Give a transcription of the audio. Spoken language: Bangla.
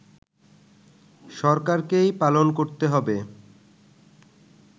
সরকারকেই পালন করতে হবে